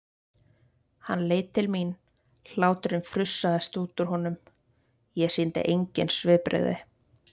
Hann leit til mín, hláturinn frussaðist út úr honum, ég sýndi engin svipbrigði.